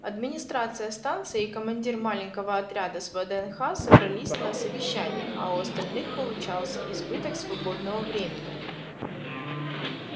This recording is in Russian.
администрация станции и командир маленького отряда с вднх собрались на совещание а у остальных получался избыток свободного времени